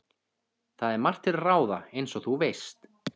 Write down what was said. Það er margt til ráða, eins og þú veist